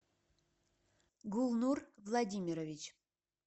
гулнур владимирович